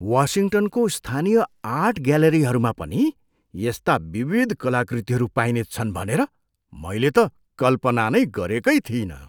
वासिङ्टनको स्थानीय आर्ट ग्यालरीहरूमा पनि यस्ता विविध कलाकृतिहरू पाइनेछन् भनेर मैले त कल्पना नै गरेकै थिइनँ।